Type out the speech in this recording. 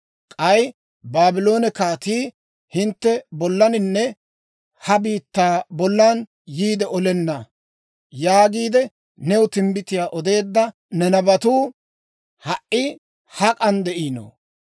K'ay, ‹Baabloone kaatii hintte bollaninne ha biittaa bollan yiide olenna› yaagiide new timbbitiyaa odeedda ne nabatuu ha"i hak'an de'ino?